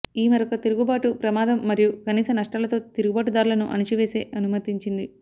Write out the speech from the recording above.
ఈ మరొక తిరుగుబాటు ప్రమాదం మరియు కనీస నష్టాలతో తిరుగుబాటుదారులను అణచివేసే అనుమతించింది